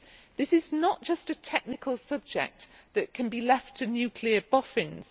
This is not just a technical subject that can be left to nuclear boffins.